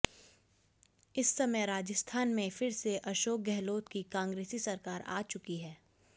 इस समय राजस्थान में फिर से अशोक गहलोत की कांग्रेसी सरकार आ चुकी है